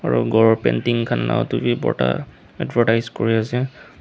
aro khor painting khan la edu bi bhorta advertise kuriase.